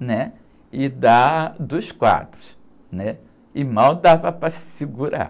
né? E da, dos quadros, né? E mal dava para se segurar.